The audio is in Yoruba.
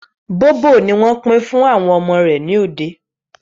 Bóbò ni wọ́n pín fún àwọn ọmọ rẹ̀ ní òde